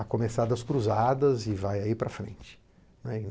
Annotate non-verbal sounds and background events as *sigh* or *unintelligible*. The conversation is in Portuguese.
a começar das cruzadas e vai aí para frente *unintelligible*